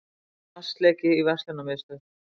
Vatnsleki í verslunarmiðstöð